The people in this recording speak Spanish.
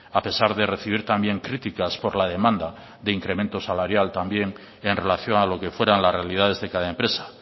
a pesar de recibir también críticas por la demanda de incremento salarial también en relación a lo que fueran las realidades de cada empresa